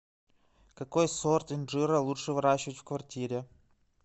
какой сорт инжира лучше выращивать в квартире